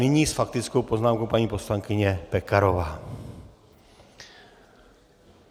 Nyní s faktickou poznámkou paní poslankyně Pekarová.